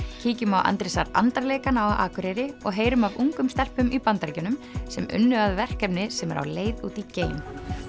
kíkjum á Andrésar andar leikana á Akureyri og heyrum af ungum stelpum í Bandaríkjunum sem unnu að verkefni sem er á leið út í geim